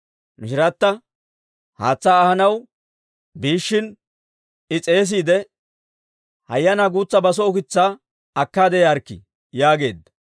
Mishirata haatsaa ahanaw biishshin I s'eesiide, «Hayyanaa guutsa baso ukitsaakka akkaade yaarikkii» yaageedda.